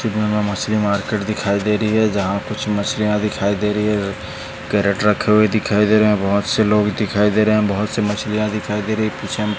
पीछे मे मछली मार्केट दिखाई दे रही है जहा कुछ मछलिया दिखाई दे रही है कैरट रखे हुए दिखाई दे रहे है बहुत से लोग भी दिखाई दे रहे है बहुत से मछलिया दिखाई दे रही --